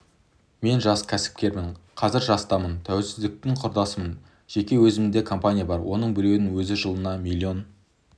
мен жас кәсіпкермін қазір жастамын тәуелсіздіктің құрдасымын жеке өзімде компания бар оның біреуінің өзі жылына миллион